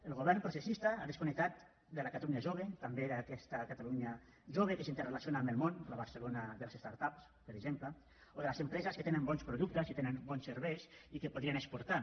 el govern processista ha desconnectat de la catalunya jove també d’aquesta catalunya jove que s’interrelaciona amb el món la barcelona de les start ups per exemple o de les empreses que tenen bons productes i tenen bons serveis i que podrien exportar